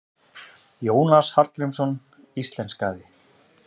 Jónas Hallgrímsson íslenskaði.